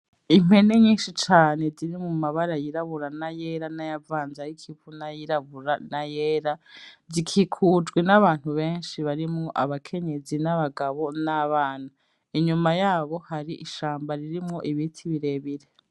Impene nyinshi cane zirimwo amabara yirabura n'ayera nayavanze ay'ikivu n'ayirabura n'ayera, zikikujwe n'abantu benshi barimwo abakenyezi n'abagabo n'abana. Inyuma yabo hari ishamba ririmwo ibiti birebire.